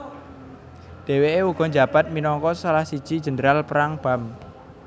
Deweke uga njabat minangka salah siji jendral perang Barm